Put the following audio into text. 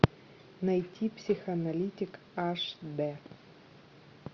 найти психоаналитик аш дэ